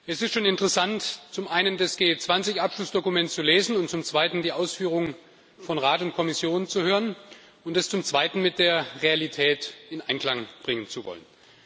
Es ist schon interessant, zum einen das G20-Abschlussdokument zu lesen und zum anderen die Ausführungen von Rat und Kommission zu hören und sie mit der Realität in Einklang bringen zu wollen.